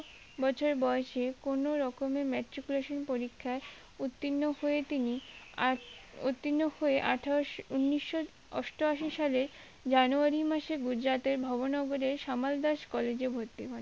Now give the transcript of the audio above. বছর বয়সে কোনো রকমের matriculation পরীক্ষায় উত্তীর্ণ হয়ে তিনি আর উত্তীর্ণ হয়ে আঠারোশো ঊনিশো অষ্টআশি সালে জানুয়ারি মাসে গুজরাটের ভবনগরের সামলদাস কলেজে ভর্তি হন